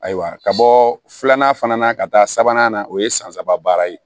Ayiwa ka bɔ filanan fana na ka taa sabanan na o ye san saba baara ye